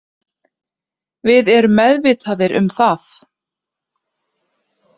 Við erum meðvitaðir um það